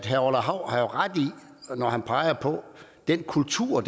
herre orla hav har jo ret når han peger på den kultur